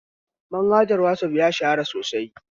Manhajar whatsapp ya shahara sosai